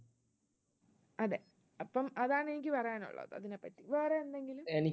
അതെ, അപ്പം അതാണ് എനിക്ക് പറയാനുള്ളത് ഇതിനെപ്പറ്റി, വേറെ എന്തെങ്കിലും?